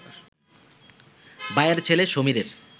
ভাইয়ের ছেলে সমীরের